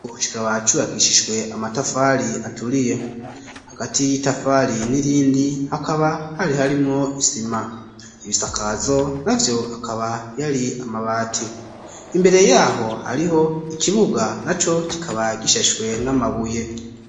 Ubu kikaba cubakishishwe amatafari aturiye. Hagati y'itafari n'irindi hakaba hari harimwo isima. Ibisakazo navyo akaba yari amabati. Imbere yaho hariho ikibuga naco kikaba gishashwe n'amabuye.